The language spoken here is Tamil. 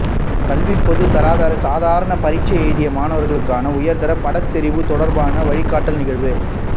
கல்விப் பொதுத் தராதர சாதாரணதரப் பரீட்சை எழுதிய மாணவர்களுக்கான உயர்தர பாடத்தெரிவு தொடர்பான வழிகாட்டல் நிகழ்வு